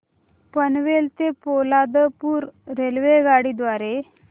पनवेल ते पोलादपूर रेल्वेगाडी द्वारे